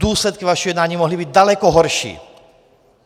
Důsledky vašeho jednání mohly být daleko horší.